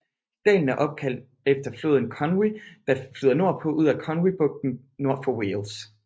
Dalen er opkaldt efter floden Conwy der flyder nordpå ud i Conwy bugten nord for Wales